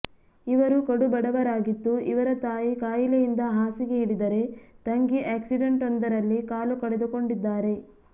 ಇವರು ಕಡುಬಡವರಾಗಿದ್ದು ಇವರ ತಾಯಿ ಕಾಯಿಲೆಯಿಂದ ಹಾಸಿಗೆ ಹಿಡಿದರೆ ತಂಗಿ ಆಕ್ಸಿಡೆಂಟ್ವೊಂದರಲ್ಲಿ ಕಾಲು ಕಳೆದುಕೊಂಡಿದ್ದಾರೆ